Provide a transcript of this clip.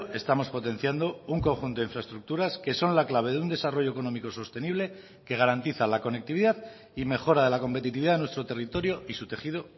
estamos potenciando un conjunto de infraestructuras que son la clave de un desarrollo económico sostenible que garantiza la conectividad y mejora de la competitividad de nuestro territorio y su tejido